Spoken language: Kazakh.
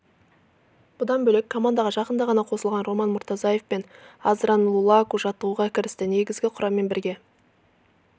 бұдан бөлек командаға жақында ғана қосылған роман мұртазаев пен аздрен лулаку жаттығуға кірісті негізгі құраммен бірге